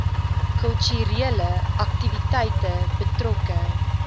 kulturele aktiwiteite betrokke